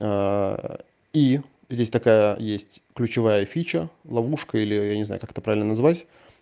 и здесь такая есть ключевая фича ловушка или я не знаю как это правильно назвать